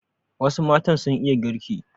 Wasu matan sun iya girki.